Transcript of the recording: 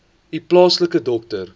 u plaaslike dokter